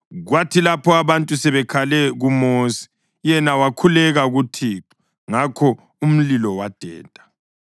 Kwathi lapho abantu sebekhale kuMosi, yena wakhuleka kuThixo ngakho umlilo wadeda.